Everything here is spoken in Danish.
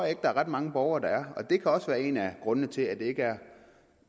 at der er ret mange borgere der er og det kan også være en af grundene til at det ikke er